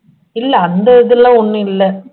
இல்ல அந்த இதெல்லாம் ஒண்ணும் இல்ல